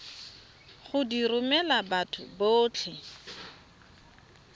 go di romela batho botlhe